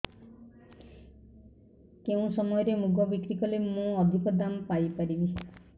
କେଉଁ ସମୟରେ ମୁଗ ବିକ୍ରି କଲେ ମୁଁ ଅଧିକ ଦାମ୍ ପାଇ ପାରିବି